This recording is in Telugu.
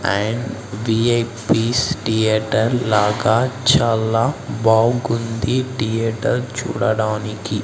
అండ్ విఐపీస్ థియేటర్ లాగా చాలా బాగుంది థియేటర్ చూడడానికి.